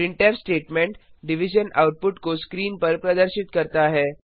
printf statement division output को screen पर प्रदर्शित करता है